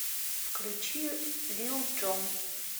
включи лил джон